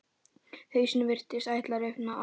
Hausinn virtist ætla að rifna af.